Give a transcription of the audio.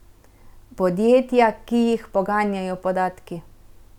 Podjetja, ki jih poganjajo podatki.